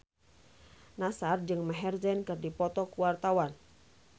Nassar jeung Maher Zein keur dipoto ku wartawan